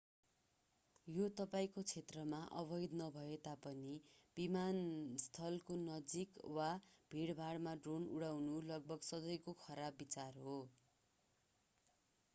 यो तपाईंको क्षेत्रमा अवैध नभए तापनि विमानस्थको नजिक वा भीडभाडमा ड्रोन उडाउनु लगभग सधैकों खराब विचार हो